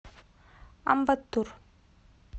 амбаттур